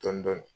Dɔɔnin dɔɔnin